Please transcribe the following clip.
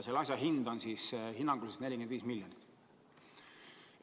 Selle hind on umbes 45 miljonit.